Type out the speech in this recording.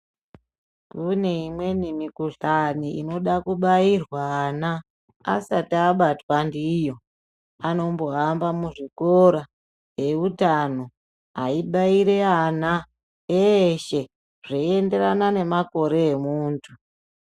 Kune imweni mukuhlani inoda kubairwa ana asati abatwa ndiyo. Anombohamba muzvikora eutano eibaira ana eshe zveienderana nemakore emuntu.